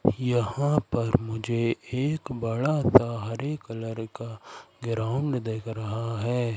यहां पर मुझे एक बड़ा सा हरे कलर का ग्राउंड दिख रहा है।